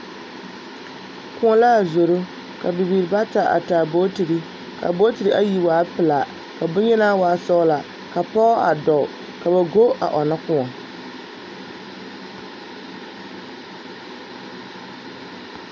Koɔ la a zoro ka bibiiri bata a taa bogtiri ka bogtiri ayi waa pelaa ka bonyeni waa sɔglaa ka pɔge a dɔɔ ka ba go a ɔnnɔ koɔ.